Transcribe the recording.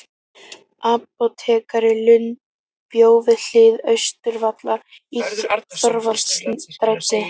Apótekari Lund bjó við hlið Austurvallar í Thorvaldsensstræti